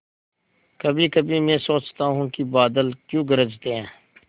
कभीकभी मैं सोचता हूँ कि बादल क्यों गरजते हैं